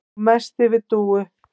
Og mest yfir Dúu.